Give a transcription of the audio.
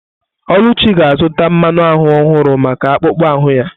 Oluchi ga-azụta mmanu ahu ọhụrụ maka akpụkpọ ahụ ya.